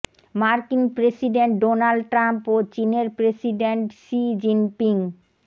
মার্কিন president Donald Trump ও চীনের প্রেসিডেন্ট শি জিনপিং